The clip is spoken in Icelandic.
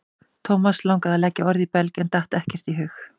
Thomas langaði að leggja orð í belg en datt ekkert í hug.